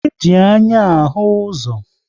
E ji anya ahụ ụzọ